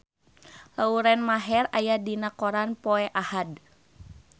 Lauren Maher aya dina koran poe Ahad